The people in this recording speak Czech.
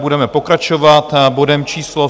Budeme pokračovat bodem číslo